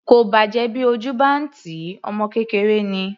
Kò bàjẹ́ bí ojú bá ń tì í, ọmọ kékeré ni.